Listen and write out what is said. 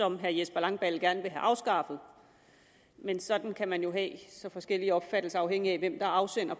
som herre jesper langballe gerne vil have afskaffet men sådan kan man jo have så forskellige opfattelser afhængigt af hvem der er afsender